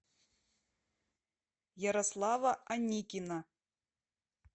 ярослава аникина